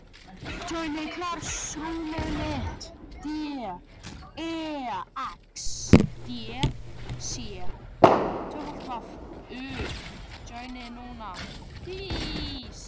En það voru Gömlu Uppsalir sem voru eiginlegt tilefni fararinnar.